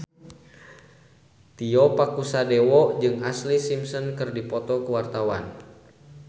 Tio Pakusadewo jeung Ashlee Simpson keur dipoto ku wartawan